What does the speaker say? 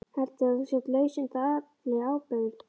Heldurðu að þú sért laus undan allri ábyrgð?